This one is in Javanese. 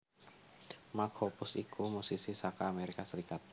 Mark Hoppus iku musisi saka Amerika Serikat